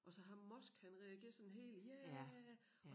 Og så ham Musk han reagerer sådan helt ja